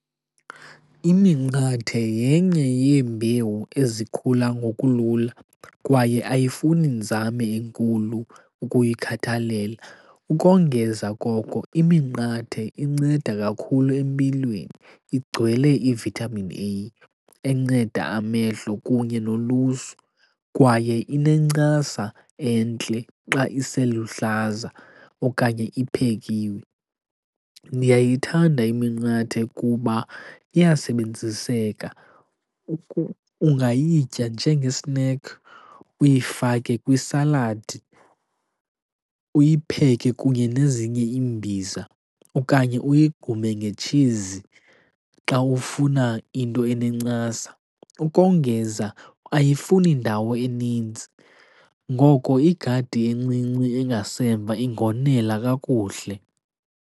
Iminqathe yenye yeembewu ezikhula ngokulula kwaye ayifuni nzame inkulu ukuyikhathalela. Ukongeza koko iminqathe inceda kakhulu empilweni, igcwele i-vitamin A enceda amehlo kunye nolusu. Kwaye inencasa entle xa iseluhlaza okanye iphekiwe. Ndiyayithanda iminqathe kuba iyasebenziseka, ungayitya njengesinekhi uyifake kwisaladi. Uyipheke kunye nezinye imbiza okanye uyigqume ngetshizi xa ufuna into enencasa. Ukongeza ayifuni ndawo enintsi. Ngoko igadi encinci engasemva ingonela kakuhle.